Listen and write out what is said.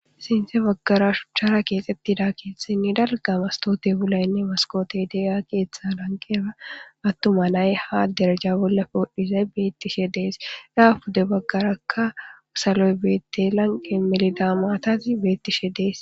Sinte baggara shuchchara keexxettida keethsinni dalgamastote pulaynne maskote deya keeththa lanqera attuma nay ha deraja bolla poodhizay beettishe dees dhaafude baggarakka saloy beette lanqe melida maatazi beettishe dees.